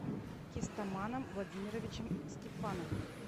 кистаманом владимировичем степановым